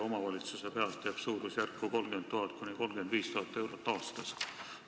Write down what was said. Omavalitsuse kohta jääb see suurusjärku 30 000 – 35 000 eurot aastas.